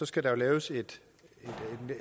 skal der jo laves et